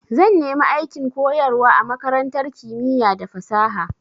Zan nemi aikin koyarwa a makarantar kimiya da fasaha.